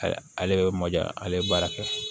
Ale bɛ mɔ diya ale baara kɛ